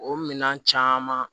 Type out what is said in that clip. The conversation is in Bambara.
O minɛn caman